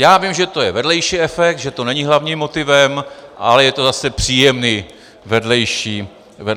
Já vím, že to je vedlejší efekt, že to není hlavním motivem, ale je to zase příjemný vedlejší efekt.